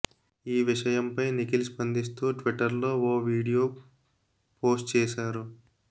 ఈ విషయంపై నిఖిల్ స్పందిస్తూ ట్విట్టర్ లో ఓ వీడియో పోస్ట్ చేశారు